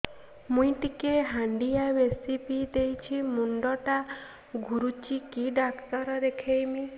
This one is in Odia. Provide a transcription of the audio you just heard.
ମୁଇ ଟିକେ ହାଣ୍ଡିଆ ବେଶି ପିଇ ଦେଇଛି ମୁଣ୍ଡ ଟା ଘୁରୁଚି କି ଡାକ୍ତର ଦେଖେଇମି